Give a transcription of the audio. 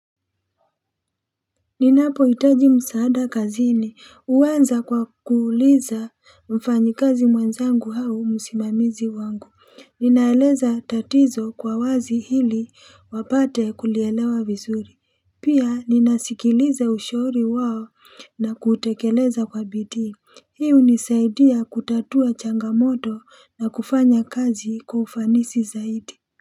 Ninapohitaji msaada kazini, huanza kwa kuuliza mfanyikazi mwenzangu au msimamizi wangu. Ninaeleza tatizo kwa wazi ili wapate kulielewa vizuri. Pia, ninasikiliza ushauri wao na kutekeleza kwa bidii. Hii hunisaidia kutatua changamoto na kufanya kazi kwa ufanisi zaidi.